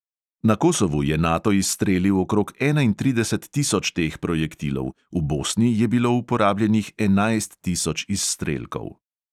Na kosovu je nato izstrelil okrog enaintrideset tisoč teh projektilov, v bosni je bilo uporabljenih enajst tisoč izstrelkov.